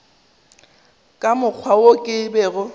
ka mokgwa wo ke bego